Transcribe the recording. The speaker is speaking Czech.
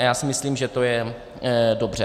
A já si myslím, že to je dobře.